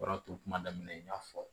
O de tun kuma daminɛ n y'a fɔ